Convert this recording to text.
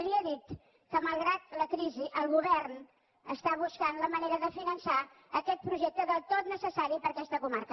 i li he dit que malgrat la crisi el govern està buscant la manera de finançar aquest projecte del tot necessari per a aquesta comarca